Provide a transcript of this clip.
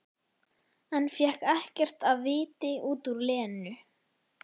En fékk ekkert af viti út úr Lenu.